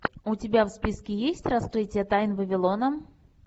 у тебя в списке есть раскрытие тайн вавилона